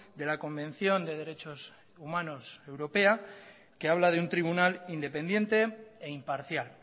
de la convención de derechos humanos europea que habla de un tribunal independiente e imparcial